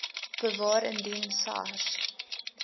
bewaar indien sars